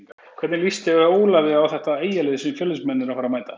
Hvernig lýst Ólafi á þetta Eyjalið sem Fjölnismenn eru að fara að mæta?